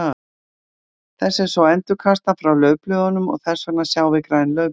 Þessu er svo endurkastað frá laufblöðunum og þess vegna sjáum við græn laufblöð.